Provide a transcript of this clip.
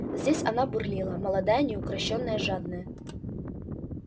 здесь она бурлила молодая неукрощённая жадная